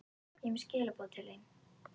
Ég er með skilaboð til þín.